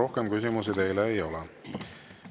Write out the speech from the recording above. Rohkem küsimusi teile ei ole.